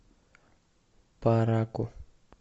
параку